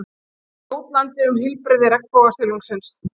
Jótlandi um heilbrigði regnbogasilungsins.